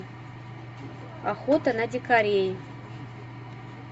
охота на дикарей